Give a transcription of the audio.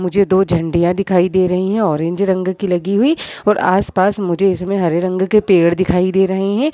मुझे दो झाड़ियाँ दिखाई दे रही हैं ऑरेंज रंग की लगी हुई और आस-पास मुझे इसमें हरे रंग के पेड़ दिखाई दे रहे हैं।